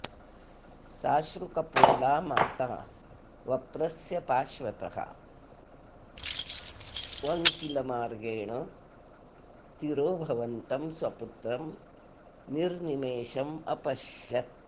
साश्रुकपोला माता वप्रस्य पार्श्वतः वङ्किलमार्गेण तिरोभवन्तं स्वपुत्रं निर्निमेषम् अपश्यत्